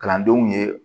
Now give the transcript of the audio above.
Kalandenw ye